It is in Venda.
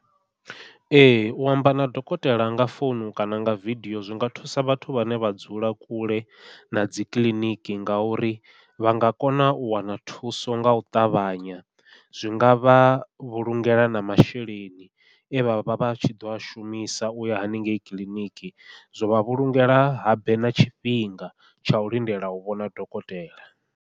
Ee u amba na dokotela nga founu kana nga vidio zwi nga thusa vhathu vhane vha dzula kule na dzi kiḽiniki ngauri vha nga kona u wana thuso ngau ṱavhanya, zwi ngavha vhulungela na masheleni e vha vha vha tshi ḓo a shumisa uya hanengei kiḽiniki zwa vha vhulungela habe na tshifhinga tsha u lindela u vhona dokotela.